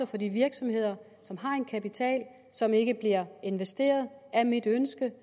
for de virksomheder som har en kapital som ikke bliver investeret er mit ønske